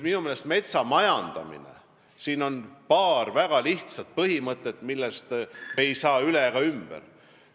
Minu meelest on metsamajandamisel paar väga lihtsat põhimõtet, millest me ei saa üle ega ümber.